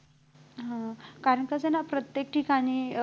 हा कारण कसं ना प्रत्येक ठिकाणी